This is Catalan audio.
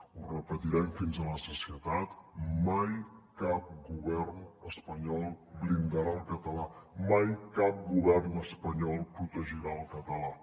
ho repetirem fins a la sacietat mai cap govern espanyol blindarà el català mai cap govern espanyol protegirà el català